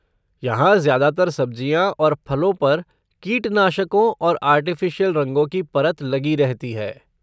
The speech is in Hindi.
यहाँ ज़्यादातर सब्ज़ियाँ और फलों पर कीटनाशकों और आर्टिफ़िशियल रंगों की परत लगी रहती है।